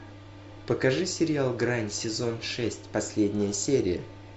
покажи сериал грань сезон шесть последняя серия